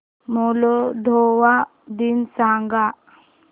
Moldova दिन सांगा